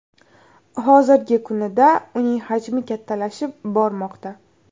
Hozirgi kunida uning hajmi kattalashib bormoqda.